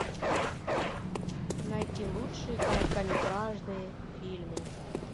найти лучшие короткометражные фильмы